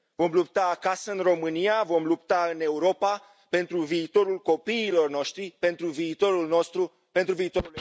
Vom lupta acasă, în România, vom lupta în Europa pentru viitorul copiilor noștri, pentru viitorul nostru, pentru viitor.